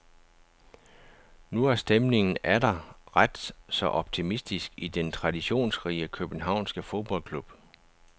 Nu er stemningen atter ret så optimistisk i den traditionsrige københavnske fodboldklub.